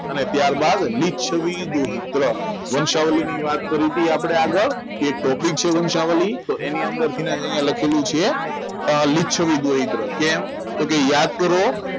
અને ત્યારબાદ રોહિત વંચાવલની વાત કરી હતી આપણે આગળ તે topic છે વંચાવલી તો એની અંદર લખેલું છે રોહિત તો કેમ યાદ કરો